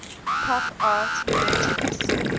pop art merges